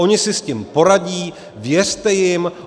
Ony si s tím poradí, věřte jim.